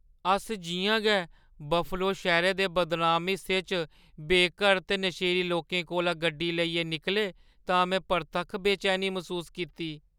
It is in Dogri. अस जि'यां गै बफलो शैह्‌रै दे बदनाम हिस्से च बेघर ते नशेड़ी लोकें कोला गड्डी लेइयै निकले तां में परतक्ख बेचैनी मसूस कीती।